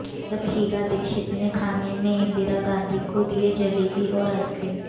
जब शीला दीक्षित ने खाने में इंदिरा गांधी को दिया जलेबी और आइसक्रीम